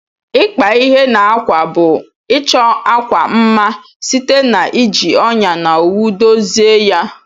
Ikpa ihe na akwa bu ichọ akwa mma site na iji ọnya na owu dozie ya.